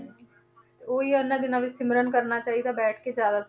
ਤੇ ਉਹੀ ਇਹਨਾਂ ਦਿਨਾਂ ਦੇ ਵਿੱਚ ਸਿਮਰਨ ਕਰਨਾ ਚਾਹੀਦਾ ਬੈਠ ਕੇ ਜ਼ਿਆਦਾ ਤੋਂ